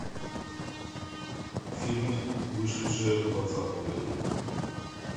фильмы вышедшие в двадцатом году